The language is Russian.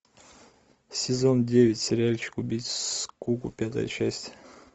сезон девять сериальчик убить скуку пятая часть